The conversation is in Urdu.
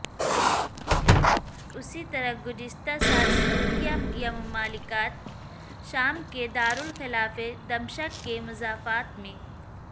اسی طرح گزشتہ سال سوریا یا مملکت شام کے دارالخلافے دمشق کے مضافات میں